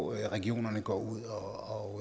regionerne går ud og